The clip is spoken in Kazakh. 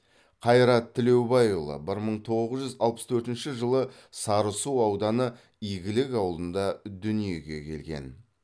қайрат тілеубайұлы бір мың тоғыз жүз алпыс төртінші жылы сарысу ауданы игілік ауылында дүниеге келген